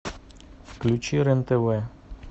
включи рен тв